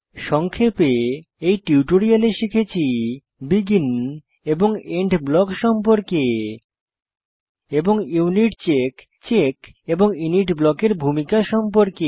সংক্ষেপে এই টিউটোরিয়ালে শিখেছি বেগিন এবং এন্ড ব্লক সম্পর্কে এবং ইউনিটচেক চেক এবং ইনিট ব্লকের ভূমিকা সম্পর্কে